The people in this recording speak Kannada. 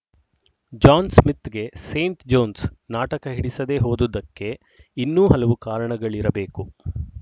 ಜಾನ್ ಸ್ಮಿತ್‍ಗೆ ಸೇಂಟ್ ಜೋನ್ಸ್‌ ನಾಟಕ ಹಿಡಿಸದೇ ಹೋದುದಕ್ಕೆ ಇನ್ನೂ ಹಲವು ಕಾರಣಗಳಿರಬೇಕು